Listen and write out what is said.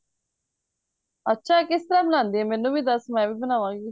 ਅੱਛਾ ਇਹ ਕਿਸ ਤਰ੍ਹਾਂ ਬਣਾਂਦੇ ਏ ਮੈਨੂੰ ਵੀ ਦੱਸ ਮੈਂ ਵੀ ਬਣਾਵਾ ਗੀ